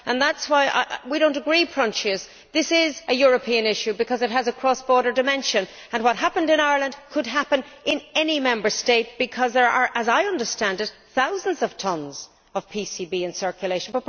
That is why I do not agree with Proinsias. This is a European issue because it has a cross border dimension. What happened in Ireland could happen in any Member State because there are as I understand it thousands of tonnes of PCBs in circulation.